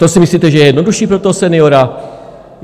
To si myslíte, že je jednodušší pro toho seniora?